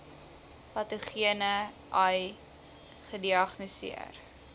patogene ai gediagnoseer